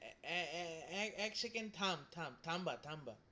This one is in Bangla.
এ~ এ~ এ~ এক সেকেন্ড থাম-থাম, থাম্বা-থাম্বা,